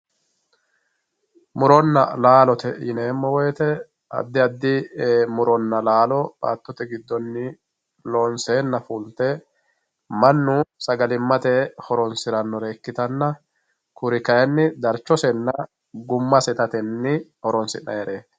muronna laalote yineemo woyiite addi addi muronna laalo baattote giddonni loonseena fulte mannu sagalimmate horonsirannore ikkitanna kuri kayiinni darchosenna gummase itatenni horonsi'nayiireti.